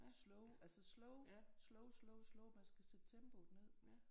Slow altså slow slow slow slow man skal sætte tempoet ned